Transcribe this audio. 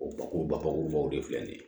O bakurubakurubaw de filɛ nin ye